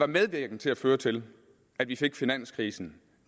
medvirkende til at føre til at vi fik finanskrisen